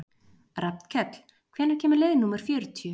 Rafnkell, hvenær kemur leið númer fjörutíu?